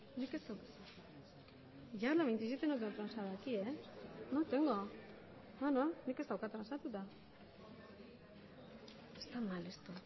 emandako